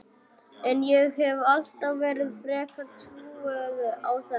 En ég hef alltaf verið frekar trúuð á þetta.